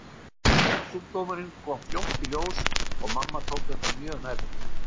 Taugasjúkdómurinn kom fljótt í ljós og mamma tók þetta mjög nærri sér.